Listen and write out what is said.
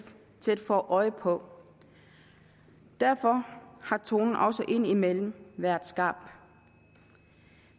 få øje på derfor har tonen også indimellem været skarp